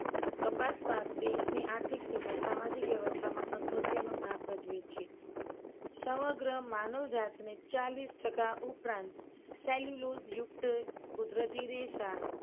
કપાસ પાક દેશની આર્થિક તેમજ સામાજિક વ્યવસ્થામાં અગત્યનો ભાગ ભજવે છે. સમગ્ર માનવ જાતને ચાલીસ ટકા ઉપરાંત cellulose યુક્ત કુદરતી રેસા